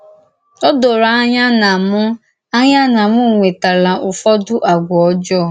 Ó dòró ànyà na m ànyà na m nwètàlà Ụ́fọdụ̀ àgwà ọ́jọọ.